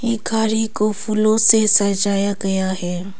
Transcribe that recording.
ये गाड़ी को फूलों से सजाया गया है।